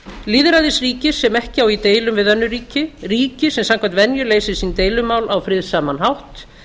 lýðræðisríki sem ekki á í deilum við önnur ríki ríki sem samkvæmt venju leysir sín deilumál á friðsaman hátt